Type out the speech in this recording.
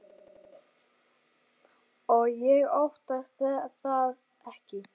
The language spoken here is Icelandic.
Og ég óttast það ekki.